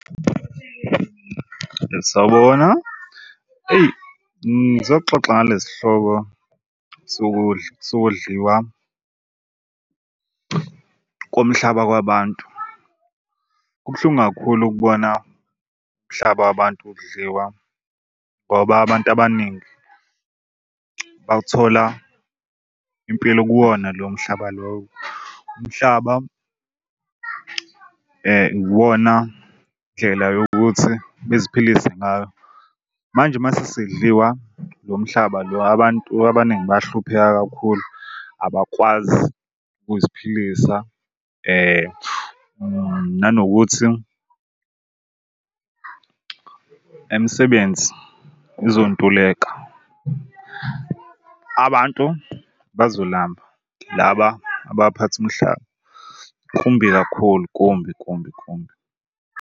Sawubona. Eyi ngizoxoxa ngalesi hloko sokudla sokudliwa komhlaba kwabantu. Kubuhlungu kakhulu kubona umhlaba wabantu udliwa ngoba abantu abaningi bawuthola impilo kuwona lo mhlaba lowo. Umhlaba iwona ndlela yokuthi beziphilise ngayo. Manje mase sedliwa lo mhlaba lo abantu abaningi bayahlupheka kakhulu abakwazi ukuziphilisa nanokuthi imisebenzi izontuleka abantu bazolamba laba abaphatha umhlaba. Kumbi kakhulu kumbi kumbi kumbi.